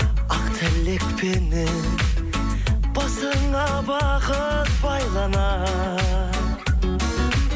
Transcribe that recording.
ақ тілекпенен басыңа бақыт байланар